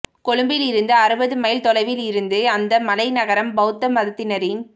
கொழும்பிலிருந்து அறுபது மைல் தொலைவில் இருந்த அந்த மலை நகரம் பௌத்த மதத்தினரின்